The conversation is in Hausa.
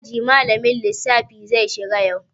Aji malamin lissafi zai shiga yau.